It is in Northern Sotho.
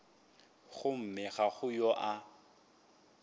gomme ga go yo a